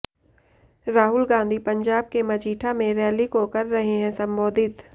राहुल गांधी पंजाब के मजीठा में रैली को कर रहे हैं संबोधित